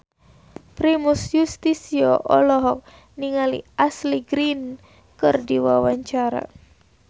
Primus Yustisio olohok ningali Ashley Greene keur diwawancara